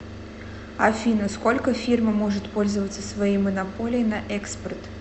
афина сколько фирма может пользоваться своей монополией на экспорт